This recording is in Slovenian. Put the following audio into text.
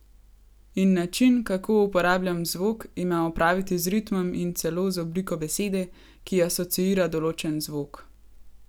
In način, kako uporabljam zvok, ima opraviti z ritmom in celo z obliko besede, ki asociira določen zvok.